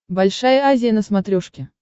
большая азия на смотрешке